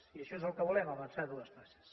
i això és el que volem avançar dues passes